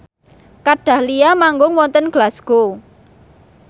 Kat Dahlia manggung wonten Glasgow